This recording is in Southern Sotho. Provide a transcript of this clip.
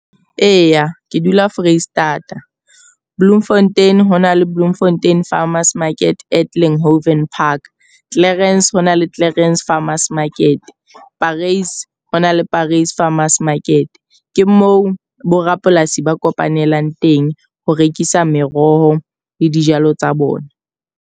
Eya, ke dula Foreisetata. Bloemfontein hona le Bloemfontein Farmers Market at Haven Park. Clarens ho na le Clarens Farmers Market. Paris ho na le Paris Farmers Market. Ke moo borapolasi ba kopanelang teng ho rekisa meroho le dijalo tsa bona.